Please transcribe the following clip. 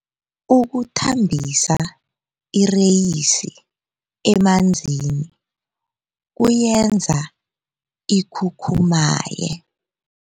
Ukuthambisa ireyisi emanzini kuyenza ikhukhumaye.